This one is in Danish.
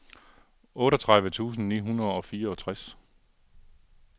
otteogtredive tusind ni hundrede og fireogtres